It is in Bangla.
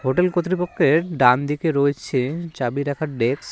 হোটেল কতরিপক্ষের ডানদিকে রয়েছে চাবি রাখার ডেস্ক ।